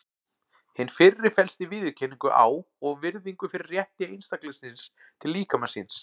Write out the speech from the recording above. Hin fyrri felst í viðurkenningu á og virðingu fyrir rétti einstaklingsins til líkama síns.